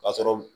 K'a sɔrɔ